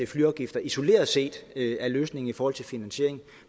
flyafgifter isoleret set er løsningen i forhold til finansiering